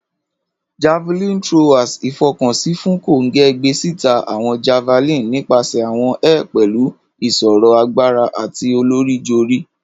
Javelin throwers ifọkansi fun konge, gbesita awọn javelin nipasẹ awọn air pẹlu iṣiro agbara ati olorijori.